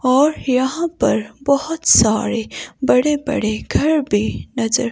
और यहाँ पर बहोत सारे बड़े बड़े घर भीं नजर--